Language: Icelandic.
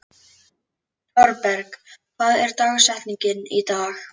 Thorberg, hver er dagsetningin í dag?